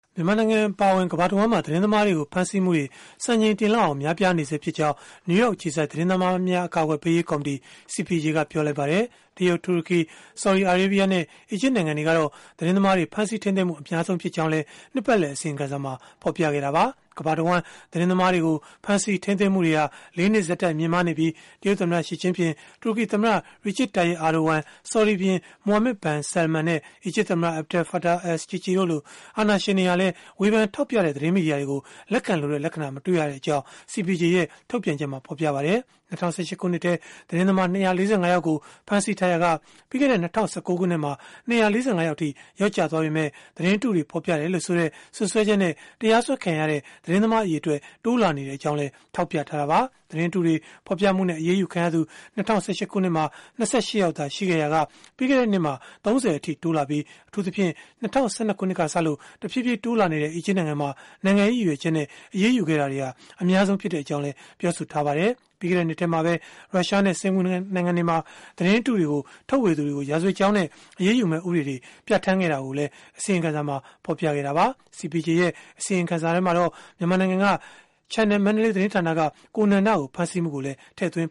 မြန်မာနိုင်ငံအပါအဝင် ကမ္ဘာတဝန်းမှာ သတင်းသမားတွေကို ဖမ်းဆီးမှုတွေ စံချိန်တင်လောက်အောင် များပြားနေဆဲဖြစ်ကြောင်း နယူးယောက် အခြေစိုက် သတင်းသမားများ အကာအကွယ်ပေးရေး ကော်မတီ (CPJ) က ပြောဆိုလိုက်ပါတယ်။ တရုတ်၊ တူရကီ၊ ဆော်ဒီအာရေးဗီးယားနဲ့ အီဂျစ်နိုင်ငံတွေကတော့ သတင်းသမားတွေ ဖမ်းဆီးထိန်းသိမ်းမှု အများဆုံးဖြစ်ကြောင်းလည်း နှစ်ပတ်လည် အစီရင်ခံစာမှာ ဖော်ပြခဲ့တာပါ။ ကမ္ဘာတဝန်း သတင်းသမားတွေကို ဖမ်းဆီးထိန်းသိမ်းမှုတွေဟာ ၄ နှစ် ဆက်တိုက် မြင့်မားနေပြီး တရုတ်သမ္မတ Xi Jinping တူရကီသမ္မတ Recep Tayyip Erdoğan ဆော်ဒီဘုရင် Mohammed bin Salman နဲ့ အီဂျစ်သမ္မတ Abdel Fattah el-Sissi တို့လို အာဏာရှင်တွေဟာလည်း ဝေဖန်ထောက်ပြတဲ့ သတင်းမီဒီယာတွေကို လက်ခံလိုတဲ့ လက္ခဏာ မတွေ့ရကြောင်းလည်း CPJ ရဲ့ ထုတ်ပြန်ချက်မှာ ဖော်ပြခဲ့ပါတယ်။ ၂၀၁၈ ခုနှစ်ထဲ သတင်းသမား ၂၄၅ ယောက်ကို ဖမ်းဆီးထားရာက ပြီးခဲ့တဲ့ ၂၀၁၉ ခုနှစ်မှာ ၂၄၅ ယောက်အထိ လျော့ကျသွားပေမဲ့ သတင်းအတုတွေ ဖော်ပြတယ်လို့ဆိုတဲ့ စွပ်စွဲချက်နဲ့ တရားစွဲခံရတဲ့ သတင်းသမား အရေအတွက် တိုးလာနေကြောင်းလည်း ထောက်ပြခဲ့တာပါ။ သတင်းအတုတွေ ဖော်ပြမှုနဲ့ အရေးယူခံခဲ့ရသူ ၂၀၁၈ ခုနှစ်မှာ ၂၈ ယောက်သာ ရှိခဲ့ရာက ပြီးခဲ့တဲ့နှစ်မှာ ၃၀ အထိ တိုးလာပြီး အထူးသဖြင့် ၂၀၁၂ ခုနှစ်ကစလို့ တဖြည်းဖြည်း တိုးလာနေတဲ့ အီဂျစ်နိုင်ငံမှာ နိုင်ငံရေး ရည်ရွယ်ချက်နဲ့ အရေးယူခဲ့တာ အများဆုံး ဖြစ်ခဲ့ကြောင်းလည်း ပြောဆိုထားပါတယ်။ ပြီးခဲ့တဲ့ နှစ်ထဲမှာပဲ ရုရှားနဲ့ စင်္ကာပူနိုင်ငံတွေမှာ သတင်းအတုတွေကို ထုတ်ဝေသူတွေကို ရာဇဝတ်ကြောင်းနဲ့ အရေးယူမယ့် ဥပဒေတွေ ပြဌာန်းခဲ့တာကိုလည်း အစီရင်ခံစာမှာ ဖော်ပြခဲ့တာပါ။ CPJ ရဲ့ အစီရင်ခံစာမှာတော့ Channel Mandalay သတင်းဌာနက ကိုနန္ဒကို ဖမ်းဆီးမှုကိုလည်း ထည့်သွင်း